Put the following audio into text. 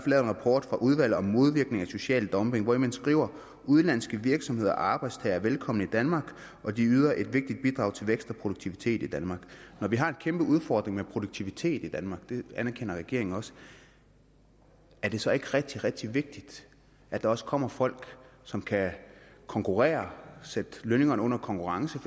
lavet en rapport fra udvalget om modvirkning af social dumping hvori man skriver udenlandske virksomheder og arbejdstagere er velkomne i danmark og de yder et vigtigt bidrag til vækst og produktivitet i danmark når vi har en kæmpe udfordring med produktiviteten i danmark og det anerkender regeringen også er det så ikke rigtig rigtig vigtigt at der også kommer folk som kan konkurrere sætte lønningerne under konkurrence